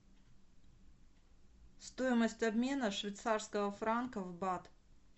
стоимость обмена швейцарского франка в бат